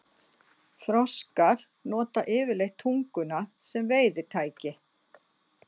Froskar nota yfirleitt tunguna sem veiðitæki.